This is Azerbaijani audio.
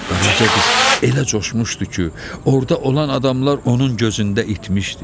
Qaraça qız elə coşmuşdu ki, orda olan adamlar onun gözündə itmişdi.